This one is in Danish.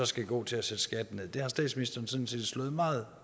skal gå til at sætte skatten nederst det har statsministeren sådan set slået meget